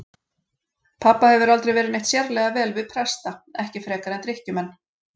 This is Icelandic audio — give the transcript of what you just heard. Pabba hefur aldrei verið neitt sérlega vel við presta, ekki frekar en drykkjumenn.